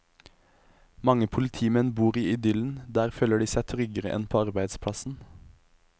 Mange politimenn bor i idyllen, der føler de seg tryggere enn på arbeidsplassen.